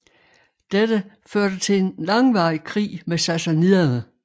Dette førte til en langvarig krig med sassaniderne